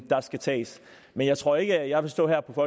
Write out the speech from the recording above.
der skal tages men jeg tror ikke at jeg vil stå her på